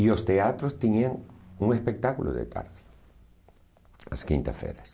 E os teatros tinham um espectáculo de tarde, às quintas-feiras.